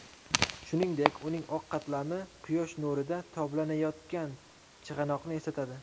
Shuningdek, uning oq qatlami quyosh nurida toblanayotgan chig‘anoqni eslatadi.